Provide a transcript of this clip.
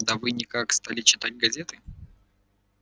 да вы никак стали читать газеты